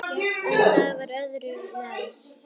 En það var öðru nær!